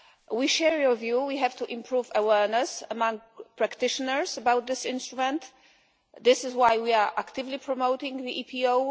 We share your view that we have to improve awareness among practitioners about this instrument. This is why we are actively promoting the EPO.